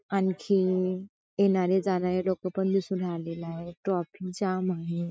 आणखी येणारे जाणारे लोक पण दिसू राहिलेले आहे ट्रॉफिक जाम आहे.